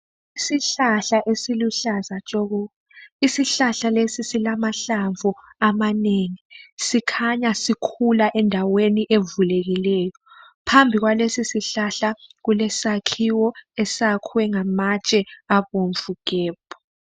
Isihlahla esiluhlaza tshoko , isihlahla lesi silamahlamvu amanengi , sikhanya sikhula endaweni evulekileyo , phambi kwalesisihlahla kulesakhiwo esiyakhwe ngamatshe abomvu gebhu